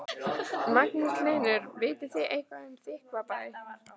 Magnús Hlynur: Vitið þið eitthvað um Þykkvabæ?